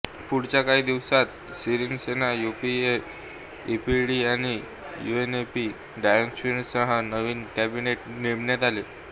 पुढच्या काही दिवसात सिरीसेना यूपीएफए ईपीडीपी आणि यूएनपी डिफेक्टर्ससह नवीन कॅबिनेट नेमण्यात आले